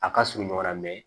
A ka surun ɲɔgɔn na